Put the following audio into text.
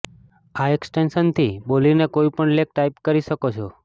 આ એક્સટેન્શનથી બોલીને કોઇપણ લેખ ટાઇપ કરી શકો છો